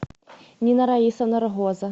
нина раисовна рогоза